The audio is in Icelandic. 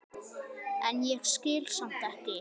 en ég skil samt ekki.